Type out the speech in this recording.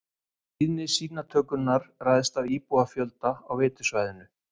Tíðni sýnatökunnar ræðst af íbúafjölda á veitusvæðinu.